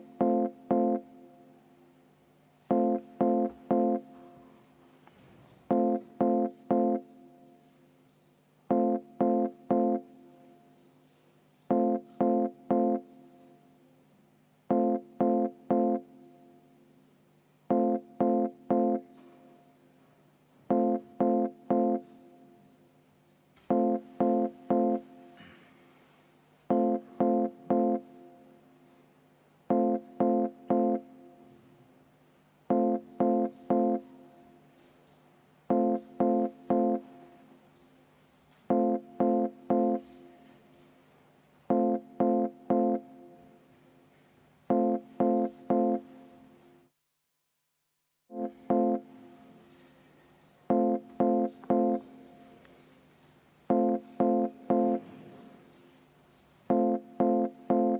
V a h e a e g